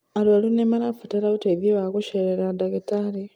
arwaru nimarabatara ũteithio wa gucerera ndagĩtarĩ